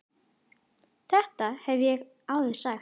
Þetta hef ég áður sagt.